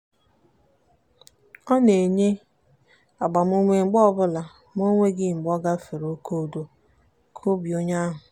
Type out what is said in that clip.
ọ na-enye agbamume mgbe ọbụla ma o nweghị mgbe ọ gafere oke udo nke obi onye ahụ.